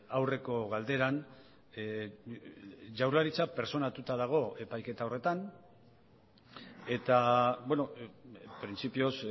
aurreko galderan jaurlaritza pertsonatuta dago epaiketa horretan eta printzipioz